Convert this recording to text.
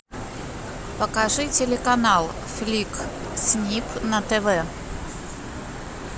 покажи телеканал фликс снип на тв